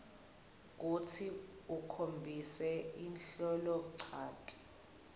kutsi ukhombise liholonchanti